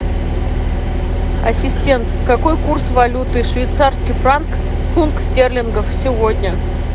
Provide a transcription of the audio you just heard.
ассистент какой курс валюты швейцарский франк фунт стерлингов сегодня